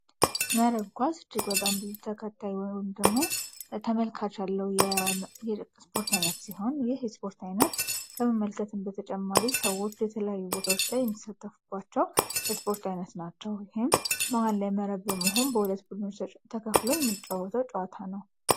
መረብ ኳስ እጅግ በጣም ብዙ ተከታይ ወይም ደሞ ተመልካች አለው ስፖርት አይነት ሲሆን፤ ይህ የስፖርት አይነት ከመመልከትም በተጨማሪ ሰዎች የተለያዩ ቦታዎች ላይ የሚሳተፉባቸው የስፖርት አይነት ናቸዉ። ይሄም ማህል ላይ መረብ በመሆን በ2 ቡድኖች ተከፍሎ የሚጫወተው ጨዋታ ነው።